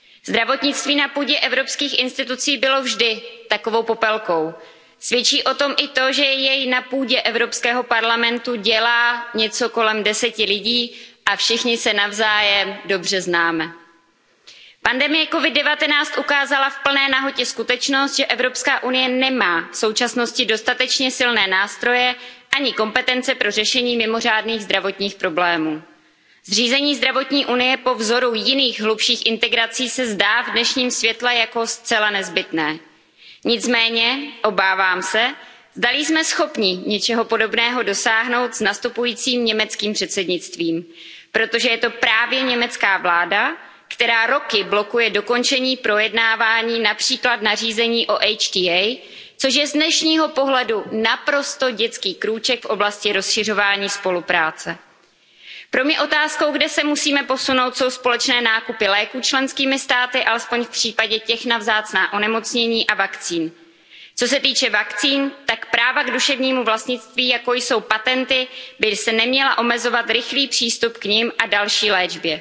Zdravotnictví na půdě evropských institucí bylo vždy takovou Popelkou, svědčí o tom i to, že jej na půdě Evropského parlamentu dělá něco kolem 10 lidí a všichni se navzájem dobře známe. Pandemie COVID 19 ukázala v plné nahotě skutečnost, že EU nemá v současnosti dostatečně silné nástroje ani kompetence pro řešení mimořádných zdravotních problémů. Zřízení Zdravotní Unie po vzoru jiných hlubších integrací se zdá v dnešním světle jako zcela nezbytné. Nicméně, obávám se, zdali jsme schopni něčeho podobného dosáhnout s nastupujícím německým předsednictvím, protože je to právě německá vláda, která roky blokuje dokončení projednávání např. nařízení o HTA, což je z dnešního pohledu naprostý dětský krůček v oblasti rozšiřování spolupráce. Pro mě otázkou, kde se musíme posunout, jsou společné nákupy léků členskými státy, alespoň v případě těch na vzácná onemocnění a vakcín. Co se týče vakcín, tak práva k duševnímu vlastnictví, jako jsou patenty, by neměla omezovat rychlý přístup k nim a další